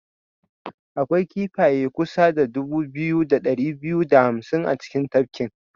Akwai kifaye kusa da dubu biyu da dari biyu da hamsin a cikin tafkin.